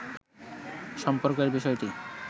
সম্পর্কের বিষয়টি